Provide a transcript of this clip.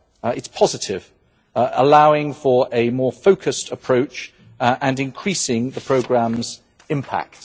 It is positive, allowing for a more focused approach and increasing the programme's impact.